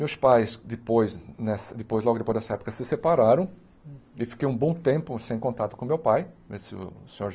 Meus pais, depois né depois logo depois dessa época, se separaram e fiquei um bom tempo sem contato com o meu pai, o Senhor.